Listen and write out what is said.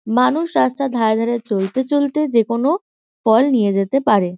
মানুষ রাস্তার ধারে চলতে চলতে যে কোনো ফল নিয়ে যেতে পারে।